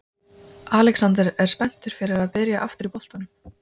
Alexander er spenntur fyrir að byrja aftur í boltanum.